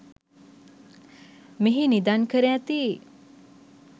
මෙහි නිදන් කර ඇති